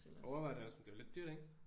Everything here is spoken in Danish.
Overvejer det også men det er lidt dyrt ik?